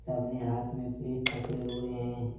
अपने हाथ में प्लेट पकड़े हुए हैं।